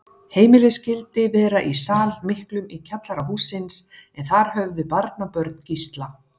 Heimilið skyldi vera í sal miklum í kjallara hússins, en þar höfðu barnabörn Gísla